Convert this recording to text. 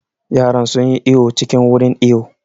Yaran sun yi iwo cikin wurin iwo